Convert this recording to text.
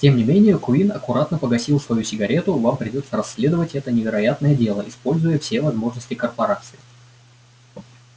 тем не менее куинн аккуратно погасил свою сигарету вам придётся расследовать это невероятное дело используя все возможности корпорации